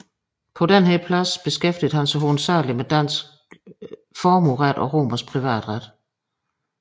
På denne plads beskæftigede han sig hovedsageligt med dansk formueret og romersk privatret